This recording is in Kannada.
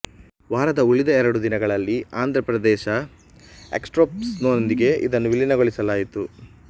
ವಾರದ ಉಳಿದ ಎರಡು ದಿನಗಳಲ್ಲಿ ಆಂಧ್ರಪ್ರದೇಶ ಎಕ್ಸ್ಪ್ರೆಸ್ನೊಂದಿಗೆ ಇದನ್ನು ವಿಲೀನಗೊಳಿಸಲಾಯಿತು